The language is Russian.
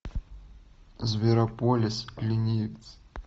зверополис ленивец